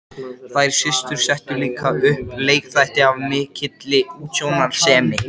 Þær systur settu líka upp leikþætti af mikilli útsjónarsemi.